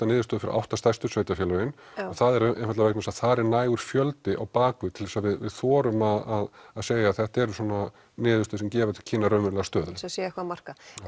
niðurstöður fyrir átta stærstu sveitarfélögin og það er vegna þess að þar er nægur fjöldi á bakvið til þess að við þorum að segja þetta eru svona niðurstöður sem gefa til kynna raunverulega stöðu